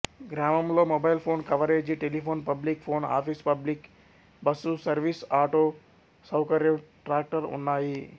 గ్రామంలో mobile phone coverage telephone public phone office public bus service auto సౌకర్యం tractor ఉన్నాయి